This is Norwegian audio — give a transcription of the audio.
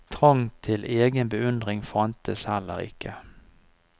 Trang til egen beundring fantes heller ikke.